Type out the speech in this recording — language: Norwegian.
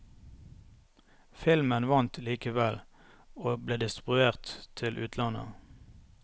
Filmen vant likevel, og ble distribuert til utlandet.